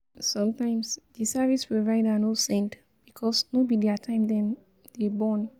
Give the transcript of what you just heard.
Sometimes, di service provider no send because no be their time dem dey burn